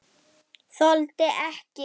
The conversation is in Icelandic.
Þoldi ekki.